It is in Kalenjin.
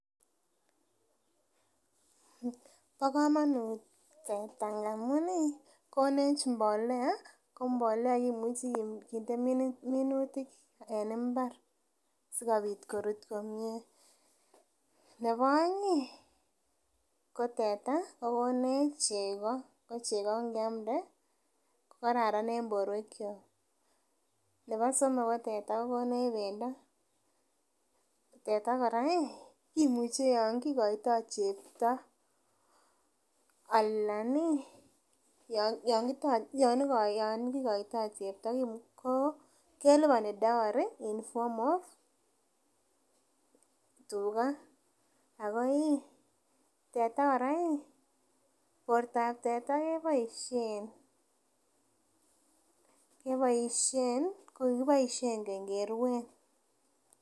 Bo komonut teta ngamun ih konech mbolea ko mbolea kimuchi kinde minutik en mbar sikobit korut komie. Nebo oeng ih ko teta kokonech chego ko chego ngiamde kokararan en borwek kyok nebo somok ko teta kokonech bendo, teta kora ih kimuche yon kikoitoo chepto alan ih yon kikoitoo chepto ko keliboni dowry in form of tuga ako ih teta kora ih bortab teta keboisien keboisien kikiboisien keny keruen